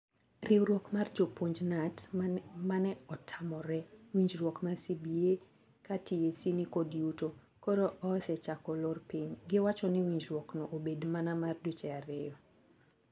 Riwruok mar jopuonj(KNUT) mane otamore winjruok mar CBA ka TSC nikod yuto, koro oesechako lor piny. Giwacho ni winjruok no obed mana mar dweche ario.